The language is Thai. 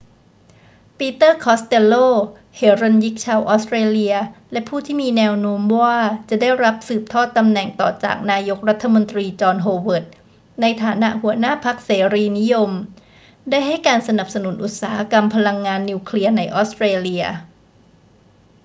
ปีเตอร์ คอสเตลโล เหรัญญิกชาวออสเตรเลียและผู้ที่มีแนวโน้มว่าจะได้รับสืบทอดตำแหน่งต่อจากนายกรัฐมนตรีจอห์น โฮเวิร์ด ในฐานะหัวหน้าพรรคเสรีนิยม ได้ให้การสนับสนุนอุตสาหกรรมพลังงานนิวเคลียร์ในออสเตรเลีย